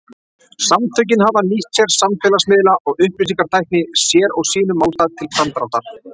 Samtökin hafa nýtt sér samfélagsmiðla og upplýsingatækni sér og sínum málstað til framdráttar.